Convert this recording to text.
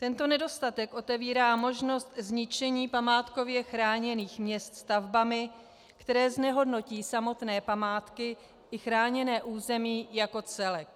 Tento nedostatek otevírá možnost zničení památkově chráněných měst stavbami, které znehodnotí samotné památky i chráněné území jako celek.